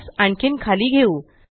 त्यास आणखीन खाली घेऊ